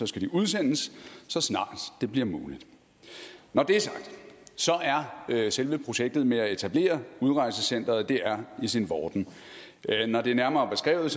skal de udsendes så snart det bliver muligt når det er sagt er selve projektet med at etablere udrejsecenteret i sin vorden når det er nærmere beskrevet